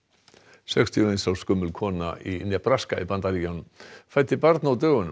sextíu og eins árs gömul kona í Nebraska í Bandaríkjunum fæddi barn á dögunum